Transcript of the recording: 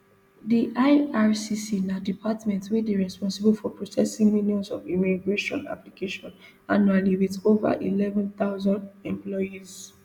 di ircc na department wey dey responsible for processing millions of immigration applications annually wit ova eleven thousand employees